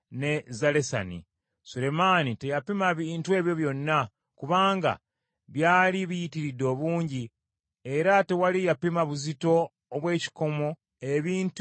Sulemaani teyapima bintu ebyo byonna, kubanga byali biyitiridde obungi; era tewali yapima buzito obw’ekikomo ebintu mwe byakolebwa.